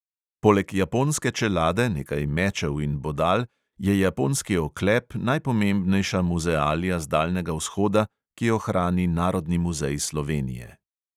Poleg japonske čelade, nekaj mečev in bodal je japonski oklep najpomembnejša muzealija z daljnega vzhoda, ki jo hrani narodni muzej slovenije.